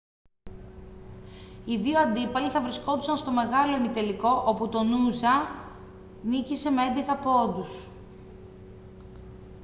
οι δύο αντίπαλοι θα βρισκόντουσαν στον μεγάλο ημιτελικό όπου το noosa νίκησε με 11 πόντους